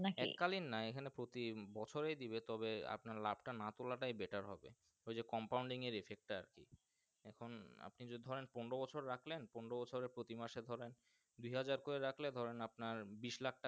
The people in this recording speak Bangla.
নাকি এককালীন না প্রতি বছরে দিবে তবে আপনার লাভ টা না তুলাটাই বেটার হবে ইও যে Compounding এর Effec তা আর কি এখন আপনি ধরেন পনেরো বছর রাখলেন পনেরো বছরে প্রতি বছরে মাস এ ধরেন দুই হজের করে রাখলে ধরেন আপনার বিস্ লাখ টাকা।